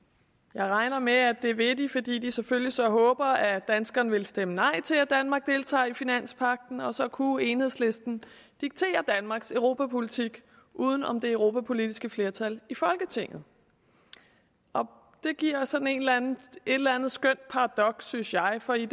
jeg regner med at det vil de fordi de selvfølgelig så håber at danskerne vil stemme nej til at danmark deltager i finanspagten og så kunne enhedslisten diktere danmarks europapolitik uden om det europapolitiske flertal i folketinget det giver sådan et eller andet skønt paradoks synes jeg for i